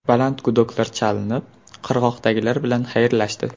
Baland gudoklar chalinib qirg‘oqdagilar bilan xayrlashdi.